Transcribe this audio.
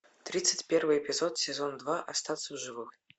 тридцать первый эпизод сезон два остаться в живых